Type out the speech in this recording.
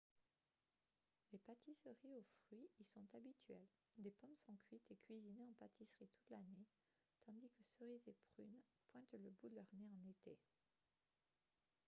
les pâtisseries aux fruits y sont habituelles des pommes sont cuites et cuisinées en pâtisserie toute l'année tandis que cerises et prunes pointent le bout de leur nez en été